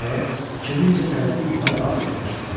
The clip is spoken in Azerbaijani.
Nəhayət, kiminsə tələsik yuxarı qalxdığını eşitdim.